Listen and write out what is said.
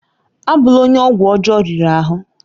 Abụ́la onye ọgwụ ọjọọ riri ahụ!